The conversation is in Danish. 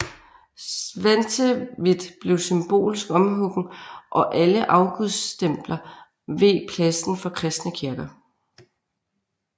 Svantevit blev symbolsk omhuggen og alle afgudstempler veg pladsen for kristne kirker